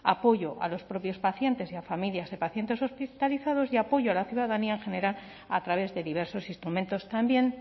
apoyo a los propios pacientes y a familias de pacientes hospitalizados y apoyo a la ciudadanía en general a través de diversos instrumentos también